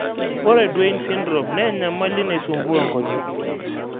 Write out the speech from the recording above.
Ore Duane syndrome naa enyamali naisumbua inkonyek.